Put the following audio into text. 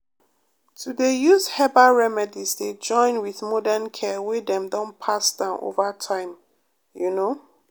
to dey use herbal remedies dey join with modern care wey dem don pass down over time you know.